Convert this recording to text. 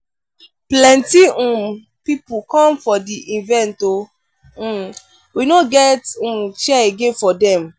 plenty um pipo come for di event o um we no get um chair again for dem.